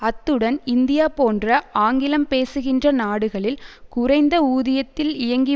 அத்துடன் இந்தியா போன்ற ஆங்கிலம் பேசுகின்ற நாடுகளில் குறைந்த ஊதியத்தில் இயங்கி